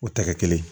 O tɛ kɛ kelen ye